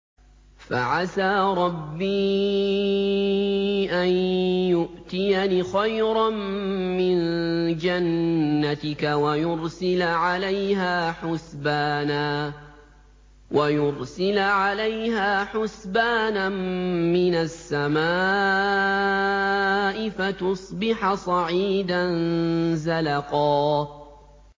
فَعَسَىٰ رَبِّي أَن يُؤْتِيَنِ خَيْرًا مِّن جَنَّتِكَ وَيُرْسِلَ عَلَيْهَا حُسْبَانًا مِّنَ السَّمَاءِ فَتُصْبِحَ صَعِيدًا زَلَقًا